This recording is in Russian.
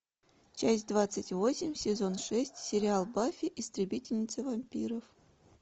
часть двадцать восемь сезон шесть сериал баффи истребительница вампиров